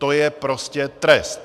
To je prostě trest.